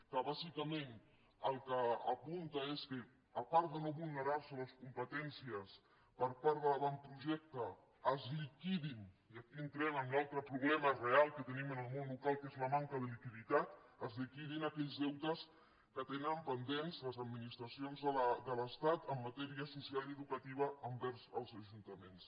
que bàsicament el que apunta és que a part que l’avantprojecte no vulneri les competències es liquidin i aquí entrem en l’altre problema real que tenim en el món local que és la manca de liquiditat aquells deutes que tenen pendents les administracions de l’estat en matèria social i educativa envers els ajuntaments